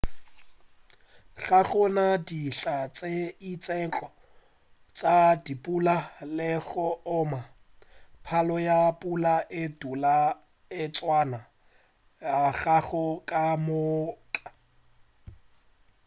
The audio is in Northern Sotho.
ga go na dihla tše itšego tša dipula le go oma palo ya pula e dula e tswana ngwaga ka moka